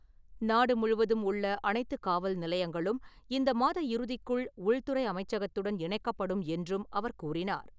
நாடு முழுவதும் உள்ள அனைத்துக் காவல் நிலையங்களும் இந்த மாத இறுதிக்குள் உள்துறை அமைச்சகத்துடன் இணைக்கப்படும் என்றும் அவர் கூறினார்.